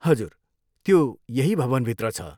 हजुर, त्यो यही भवनभित्र छ।